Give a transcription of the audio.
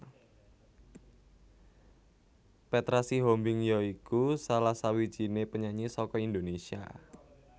Petra Sihombing ya iku salah sawijiné penyanyi saka Indonésia